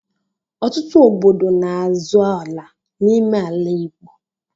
Ọtụtụ obodo n'azọ ala n'ime ala Igbo.